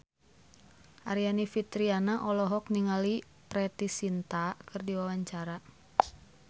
Aryani Fitriana olohok ningali Preity Zinta keur diwawancara